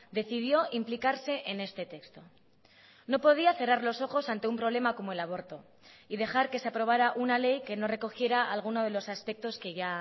decidió implicarse en este texto no podía cerrar los ojos ante un problema como el aborto y dejar que se aprobara una ley que no recogiera alguno de los aspectos que ya